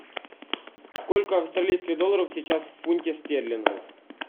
сколько австралийских долларов сейчас в фунте стерлингов